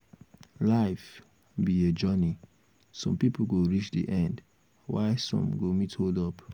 life be a journey some people go reach the end while some go meet hold up